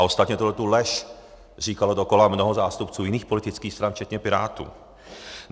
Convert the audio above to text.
A ostatně tuto lež říkalo dokola mnoho zástupců jiných politických stran včetně Pirátů.